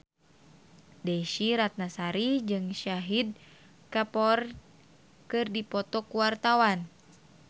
Desy Ratnasari jeung Shahid Kapoor keur dipoto ku wartawan